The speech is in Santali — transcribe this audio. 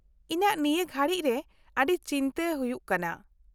- ᱤᱧᱟᱹᱜ ᱱᱤᱭᱟᱹ ᱜᱷᱟᱹᱲᱤᱡ ᱨᱮ ᱟᱹᱰᱤ ᱪᱤᱱᱛᱟᱹ ᱦᱩᱭᱩᱜ ᱠᱟᱱᱟ ᱾